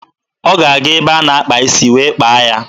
Ọ ga-aga ebe a na-akpa isi wee kpaa ya.